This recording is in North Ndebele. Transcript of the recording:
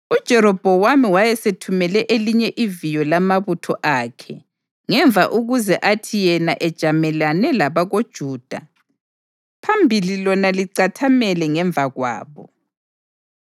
UJerobhowamu wayesethumele elinye iviyo lamabutho akhe ngemva ukuze athi yena ejamelane labakoJuda phambili lona licathamele ngemva kwabo.